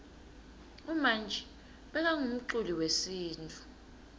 umanji bekangumculi wesintfu